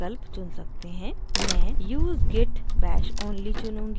मैं use git bash only चुनूंगी और next पर click करुँगी